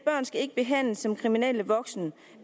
at behandles som kriminelle voksne